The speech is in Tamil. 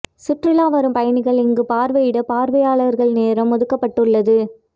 சுற்றுலா வரும் பயணிகள் இங்கு பார்வை இட பார்வையாளர் நேரம் ஒதுக்க பட்டு உள்ளது